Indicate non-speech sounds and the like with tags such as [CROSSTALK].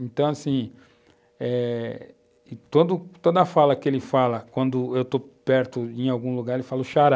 Então, assim, eh, [UNINTELLIGIBLE] toda a fala que ele fala, quando eu estou perto em algum lugar, ele fala o xará.